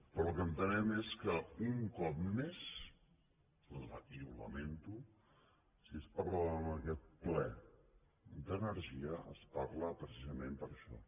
però el que entenem és que un cop més i aquí ho lamento si es parla en aquest ple d’energia es parla precisament per això